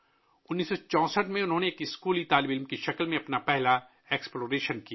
1964 ء میں، انہوں نے ایک اسکولی طالب علم کے طور پر اپنا پہلا ایکسپلوریشن کیا